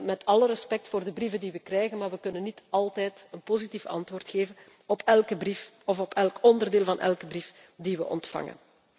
gaan. Met alle respect voor de brieven die wij krijgen, maar wij kunnen niet altijd een positief antwoord geven op elke brief of op elk onderdeel van een brief die wij ontvangen.